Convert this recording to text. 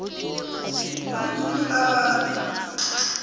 khulu khulu abantu